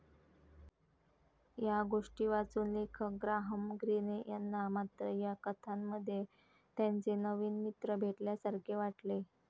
या गोष्टी वाचून लेखक ग्राहम ग्रीने यांना मात्र या कथांमध्ये त्यांचे नवीन मित्र भेटल्यासारखे वाटले.